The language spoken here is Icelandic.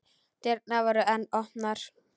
Dyrnar voru enn opnar.